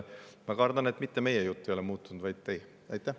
Ma kardan, et mitte meie jutt ei ole muutunud, vaid teie.